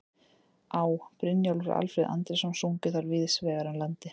Á., Brynjólfur og Alfreð Andrésson sungu þær víðs vegar um landið.